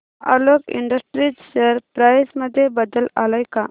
Alok industries share price मध्ये बदल आलाय का